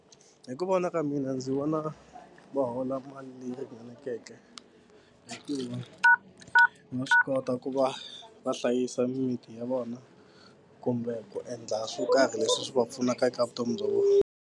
Hi ku vona ka mina ndzi vona va hola mali leyi ringaneleke hikuva va swi kota ku va va hlayisa mimiti ya vona kumbe ku endla swo karhi leswi swi va pfunaka eka vutomi bya vona.